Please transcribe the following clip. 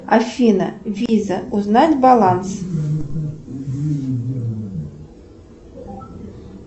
афина виза узнать баланс